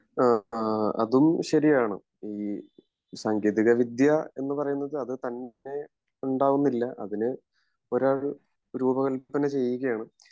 ആഹ് ശെരിയാണ് ഈ സാങ്കേതിക വിദ്യ എന്ന് പറയുന്നത് തന്നെ ഉണ്ടാവുന്നില്ല അതിന് ഒരാൾ രൂപകൽപ്പന ചെയ്യുകയാണ്